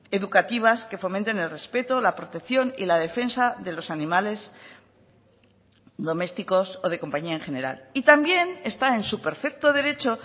educativas que fomenten el respeto la protección y la defensa de los animales domésticos o de compañía en general y también está en su perfecto derecho